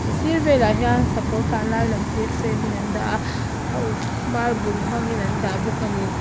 a sir velah hian sakawr tlanlai lem te frame in an dah a a uk marble hmang in an dah bawk a ni.